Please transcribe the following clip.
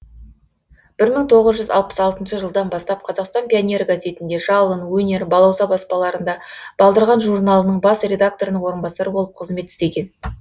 бір мың тоғыз жүз алпыс алтыншы жылдан бастап қазақстан пионері газетінде жалын өнер балауса баспаларында балдырған журналының бас редакторының орынбасары болып қызмет істеген